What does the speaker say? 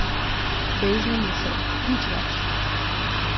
Bežna misel, nič več.